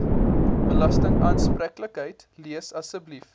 belastingaanspreeklikheid lees asseblief